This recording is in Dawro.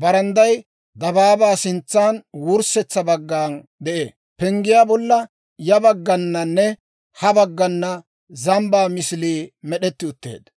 Barandday dabaabaa sintsan wurssetsa baggana de'ee. Penggiyaa bolla ya baggananne ha baggana zambbaa misilii med'etti utteedda.